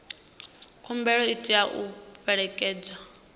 khumbelo i tea u fhelekedzwa